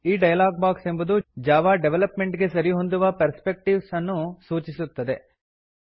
ಈ dialog box ಎಂಬುದು Java development ಗೆ ಸರಿಹೊಂದುವ ಪರ್ಸ್ಪೆಕ್ಟೀವ್ಸ್ ಅನ್ನು ಸೂಚಿಸುತ್ತದೆ